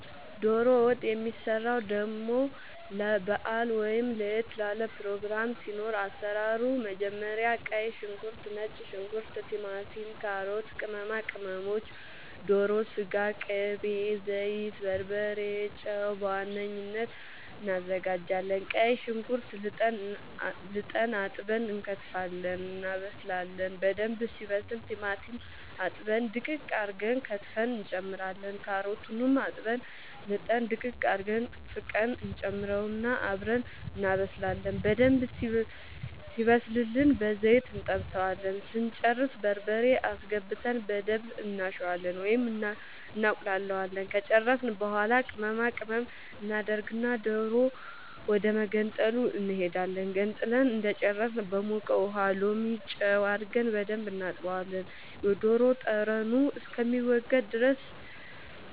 ዶሮ ወጥ የሚሰራው ደሞ ለባአል ወይም ለየት ላለ ፕሮግራም ሲኖር አሰራሩ መጀመሪያ ቀይ ሽንኩርት ነጭ ሽንኩርት ቲማቲም ካሮት ቅመማ ቅመሞች ዶሮ ስጋ ቅቤ ዘይት በርበሬ ጨው በዋነኝነት አናዘጋጃለን ቀይ ሽንኩርት ልጠን አጥበን እንከትፋለን እናበስላለን በደንብ ሲበስል ቲማቲም አጥበን ድቅቅ አርገን ከትፈን እንጨምራለን ካሮቱንም አጥበን ልጠን ድቅቅ አርገን ፍቀን እንጨምረውና አብረን እናበስላለን በደንብ ሲበስልልን በዘይት እንጠብሰዋለን ስንጨርስ በርበሬ አስገብተን በደንብ እናሸዋለን ወይም እናቁላለዋለን ከጨረስን በኃላ ቅመማ ቅመም እናደርግና ዶሮ ወደመገንጠሉ እንሄዳለን ገንጥለን እንደጨረስን በሞቀ ውሃ ሎሚ ጨው አርገን በደንብ እናጥበዋለን የዶሮ ጠረኑ